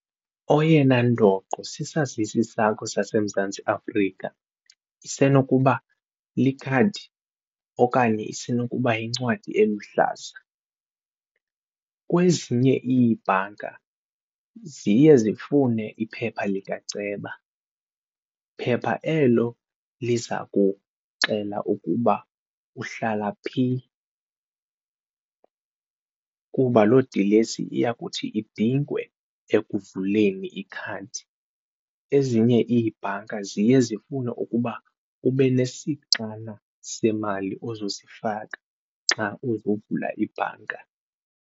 Oyena ndoqo sisazisi sakho saseMzantsi Afrika isenokuba likhadi okanye yincwadi eluhlaza. Kwezinye ibhanka ziye zifune iphepha likaceba, phepha elo liza kuxelela ukuba uhlala phi kuba loo dilesi iyakuthi idingwe ekuvuleni ikhadi, ezinye iibhanka ziye zifune ukuba ube nesixana semali ozosifaka xa uzovula ibhanka.